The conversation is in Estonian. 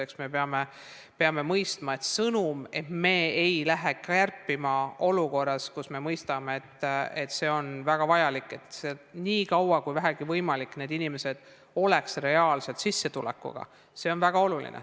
Eks me peame mõistma, et sõnum, et me ei lähe kärpima olukorras, kus me mõistame, et see on väga vajalik, selleks et nii kaua kui vähegi võimalik inimestel oleks reaalne sissetulek, on väga oluline.